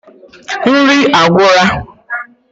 Nri agwura